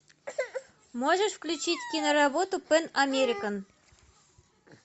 можешь включить киноработу пэн американ